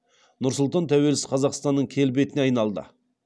нұр сұлтан тәуелсіз қазақстанның келбетіне айналды